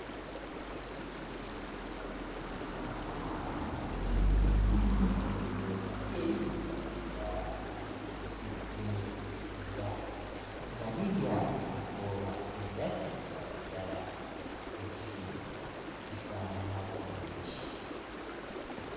Ezzike eriddugavu okuzaama ezzike liyina ebyoya ebiddugavu ddala litudde mu kibira nga lirya ebikoola ebya kiragala ddala; ezzike lino lifaanana bulungi.